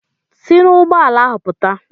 Si n'ụgbọala ahụ pụta!